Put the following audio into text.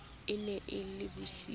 e ne e le bosiu